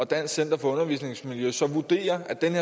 dansk center for undervisningsmiljø så vurderer at den